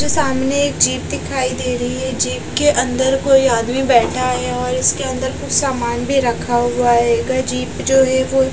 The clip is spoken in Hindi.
जो सामने एक जीप दिखाई दे रही है जीप के अंदर कोई आदमी बैठा है और इसके अंदर कुछ सामान भी रखा हुआ आएगा जीप जो है वो --